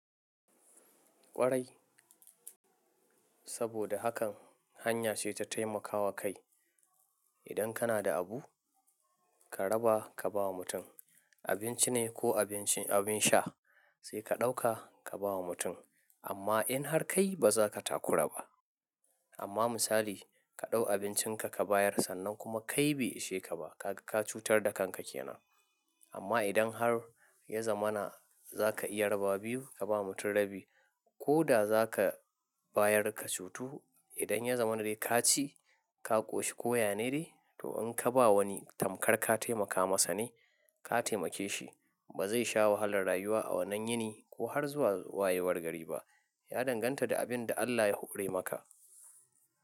Kwarai. Saboda hakan hanya ce ta taimakawa kai. Idan kana da abu, ka raba ka bawa mutum. Abinci ne ko abin sha sai ka ɗauka ka bawa mutum. Amma in har kai baza ka takura ba. Amma misali ka ɗau abincinka ka bayar sannan kuma kai bai ishe ka ba, ka cutar da kanka kenan. Amma idan har ya zama na za ka iya raba biyu, ka bawa mutum rabi ko da za ka bayar ka cutu. Idan ya zama na dai ka ci, ka ƙoshi ko yane dai, to in ka ba wani tamkar ka taimaka masa ne, ka taimake shi. Ba zai sha wahalar rayuwa a wannan yini ko har zuwa wayewar gari ba. Ya danganta da abin da Allah ya hore maka.